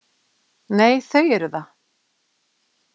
Nei, þau eru það.